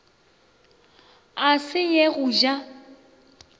a se ye go ja